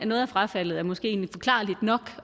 noget af frafaldet er måske egentlig forklarligt nok